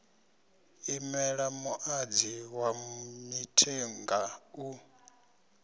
imela muṅadzi wa mithenga u